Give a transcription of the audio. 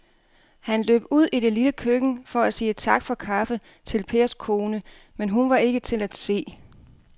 Han løb ud i det lille køkken for at sige tak for kaffe til Pers kone, men hun var ikke til at se.